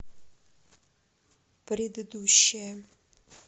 предыдущая